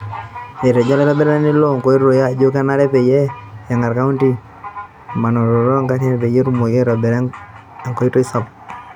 Etejo olaitobirani loo nkoitoi ajo kenare pee eng'aar kaunti emanaroto oo ng'arin pee etumoki aitobira enkoitoi sapuk.